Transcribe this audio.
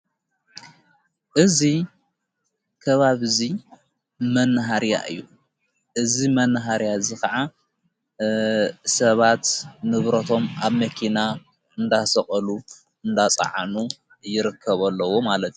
እዙ ከባብ እዙይ መንሃርያ እዩ እዝ መንሃርያ እዝ ኸዓ ሰባት ንብሮቶም ኣብ መኪና እንዳሰቖሉ እንዳፀዓኑ ይርከቡ ኣለዉ ።